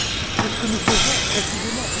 C'est ce que nous faisons, précisément.